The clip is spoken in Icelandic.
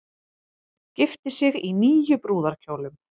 Gifti sig í níu brúðarkjólum